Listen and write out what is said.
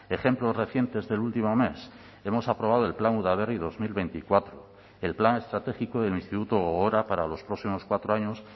ejemplos recientes del último mes hemos aprobado el plan udaberri dos mil veinticuatro el plan estratégico del instituto gogora para los próximos cuatro años